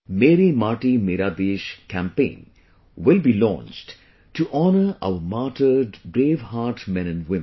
'Meri Mati Mera Desh' campaign will be launched to honour our martyred braveheart men and women